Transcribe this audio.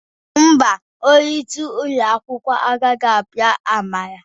Mba, onye isi ụlọ akwụkwọ agaghị apịa Amara